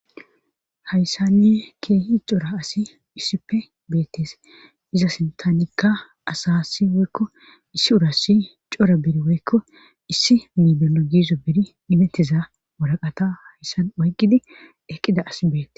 Hayssanne keehi cora asi issippe beettees iza sintanikka asassi woykko issi urassi cora beri woykko issi miibino giizo beri imettiza woraqata hayssan oyqqidi eqqida asi beetees